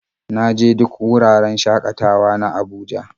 Na je duk wuraren shakatawa na Abuja.